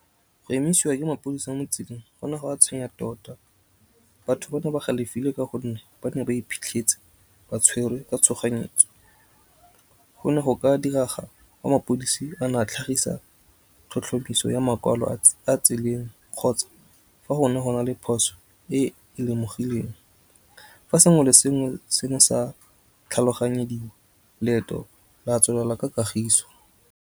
Go emisiwa ke mapodisa mo tseleng gona go go a tshwenya tota. Batho ba ne ba galefile ka gonne ba ne ba iphitlhetse ba tshwerwe ka tshoganyetso. Go ne go ka diraga mapodisi a na tlhagisa tlhotlhomiso ya makwalo a tseleng kgotsa fa go ne go na le phoso e le lemogileng. Fa sengwe le sengwe se ne sa tlhaloganyediwa leeto la tswelela ka kagiso.